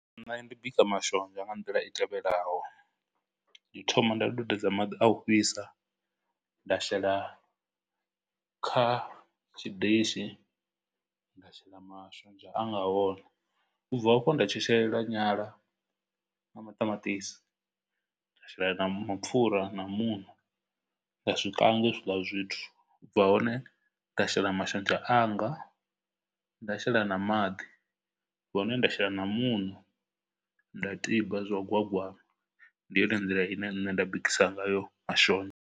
Nṋe ndi bika mashonzha nga nḓila i tevhelaho, ndi thoma nda dudedza dza maḓi a u fhisa, nda shela kha tshidishi, nda shela mashonzha a nga hone, u bva hafho nda tshetshelela nyala na maṱamaṱisi, nda shela na mapfura na muṋo, nda zwi kanga hezwiḽa zwithu, u bva hone nda shela mashonzha anga, nda shela na maḓi, u bva hone nda shela na muṋo nda tiba zwa gwagwama. Ndi yone nḓila ine nṋe nda bikisiwa ngayo mashonzha.